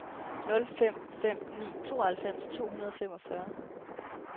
nul fem fem ni tooghalvfems to hundrede og femogfyrre